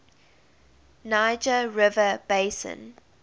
niger river basin